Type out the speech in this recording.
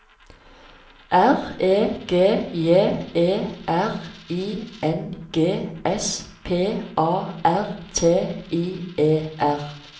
R E G J E R I N G S P A R T I E R